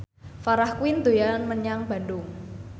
Farah Quinn dolan menyang Bandung